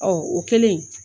Ɔɔ o kɛlen